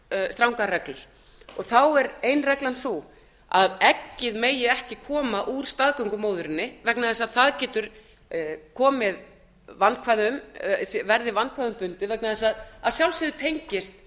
strangar reglur þá er ein reglan sú að eggið megi ekki koma úr staðgöngumóðurinni vegna þess að það getur verið vandkvæðum bundið vegna þess að að sjálfsögðu tengist